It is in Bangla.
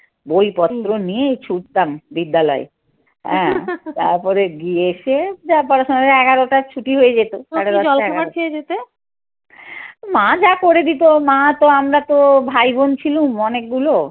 বই পত্র নিয়ে ছুটতাম বিদ্যালয়ে। হ্যাঁ তারপরে গিয়ে এসে যা পড়াশোনা এগারোটায় ছুটি হয়ে যেত। মা যা করে দিত, মা তো আমরা তো ভাই বোন ছিলুম অনেকগুলো।